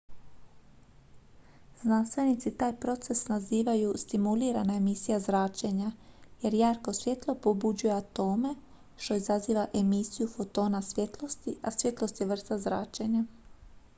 "znanstvenici taj proces nazivaju "stimulirana emisija zračenja" jer jarko svjetlo pobuđuje atome što izaziva emisiju fotona svjetlosti a svjetlost je vrsta zračenja.